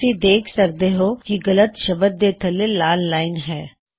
ਤੁਸੀ ਦੇਖ ਸਕਦੇ ਹੋਂ ਕਿ ਗਲੱਤ ਸ਼ਬਦ ਦੇ ਥੱਲੇ ਲਾਲ ਲਾਇਨ ਹੈ